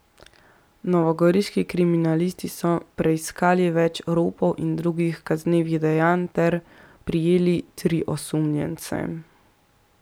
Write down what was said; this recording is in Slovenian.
Novogoriški kriminalisti so preiskali več ropov in drugih kaznivih dejanj ter prijeli tri osumljence.